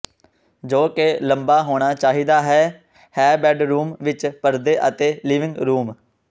ਜੋ ਕਿ ਲੰਬਾ ਹੋਣਾ ਚਾਹੀਦਾ ਹੈ ਹੈ ਬੈੱਡਰੂਮ ਵਿੱਚ ਪਰਦੇ ਅਤੇ ਲਿਵਿੰਗ ਰੂਮ